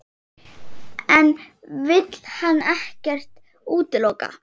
En vill hann ekkert útiloka?